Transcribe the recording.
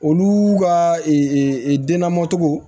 Olu ka denna mɔtogo